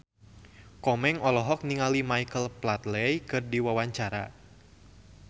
Komeng olohok ningali Michael Flatley keur diwawancara